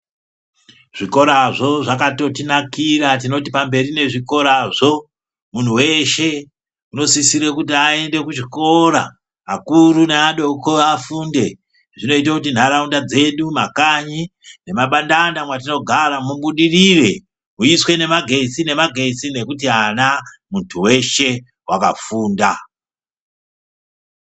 Zvikorazvo zvakatotinakira, tinoti pamberi nezvikorazvo. Munhu weshe unosisira kuti aende kuchikora, akuru neadoko afunde. Zvinoita kuti ntaraunda dzedu makanyi nemabandanda mwatinogara mubudirire. Muiswe nemagetsi-nemagetsi nekuti ana, muntu weshe wakafunda.